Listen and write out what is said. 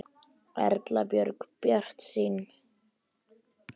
Erla Björg: Bjartsýnn?